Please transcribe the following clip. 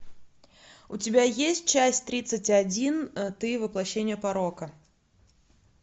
у тебя есть часть тридцать один ты воплощение порока